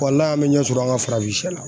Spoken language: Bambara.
an bɛ ɲɛ sɔrɔ an ka farafinsiyɛ la.